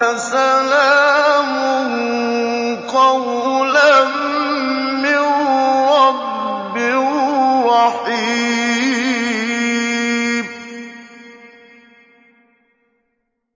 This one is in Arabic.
سَلَامٌ قَوْلًا مِّن رَّبٍّ رَّحِيمٍ